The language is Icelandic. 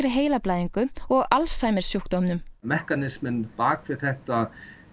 arfgengri heilablæðingu og Alzheimers sjúkdómnum mekanisminn bak við þetta